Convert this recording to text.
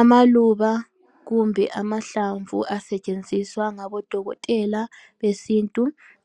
Amaluba kumbe amahlamvu asetshenziswa ngabodokotela besintu